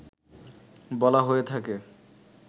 বলা হয়ে থাকে